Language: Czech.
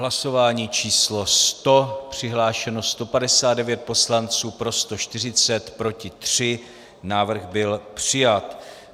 Hlasování číslo 100, přihlášeno 159 poslanců, pro 140, proti 3, návrh byl přijat.